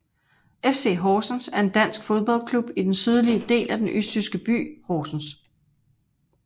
FC Horsens er en dansk fodboldklub i den sydlige del af den østjyske by Horsens